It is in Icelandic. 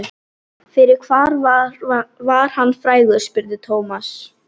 Fyrir hvað var hann frægur? spurði Thomas.